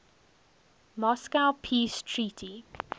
moscow peace treaty